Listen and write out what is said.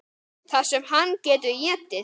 Það sem hann getur étið!